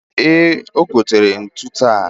e gotere ntu taa